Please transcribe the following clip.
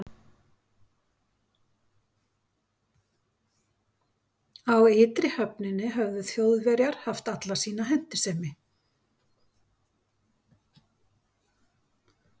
Á ytri höfninni höfðu Þjóðverjar haft alla sína hentisemi.